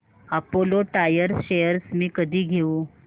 Apollo Tyres shares मी कधी घेऊ